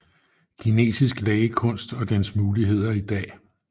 Kinesisk lægekunst og dens muligheder i dag